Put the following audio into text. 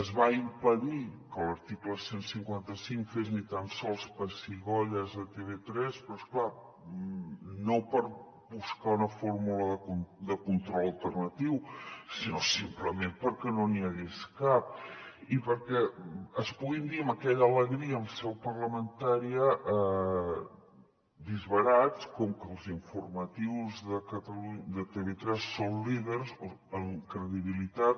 es va impedir que l’article cent i cinquanta cinc fes ni tan sols pessigolles a tv3 però és clar no per buscar una fórmula de control alternatiu sinó simplement perquè no n’hi hagués cap i perquè es puguin dir amb aquella alegria en seu parlamentària disbarats com que els informatius de tv3 són líders en credibilitat